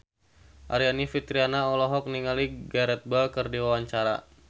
Aryani Fitriana olohok ningali Gareth Bale keur diwawancara